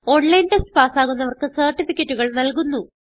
online test പാസ്സാകുന്നവർക്ക് സർട്ടിഫികറ്റുകൾ നല്കുന്നു